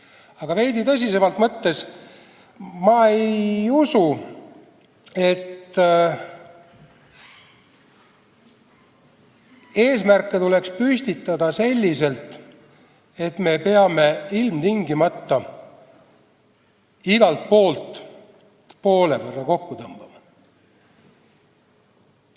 Aga veidi tõsisemalt võttes ei usu ma, et eesmärke tuleks püstitada selliselt, et me peame ilmtingimata igalt poolt poole võrra kokku tõmbama.